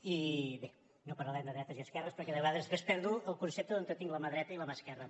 i bé no parlarem de dretes i esquerres perquè de vegades després perdo el concepte d’on tinc la mà dreta i la mà esquerra